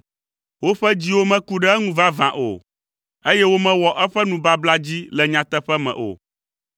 Woƒe dziwo meku ɖe eŋu vavã o, eye womewɔ eƒe nubabla dzi le nyateƒe me o.